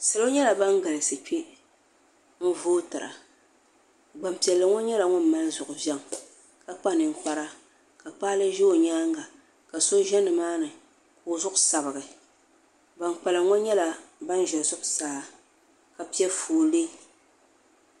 salo nyɛla ban galisi kpɛ n votɛri gbapiɛli ŋɔ nyɛla ŋɔ mali zuɣivɛŋɔ ka kpanikpara ka kpalɛ ʒɛ o nyɛŋa ka so ʒɛ ni maa ni ko o zuɣ sabigi ban kpalim ŋɔ nyɛla ban ʒɛ zuɣ saa ka pɛƒɔli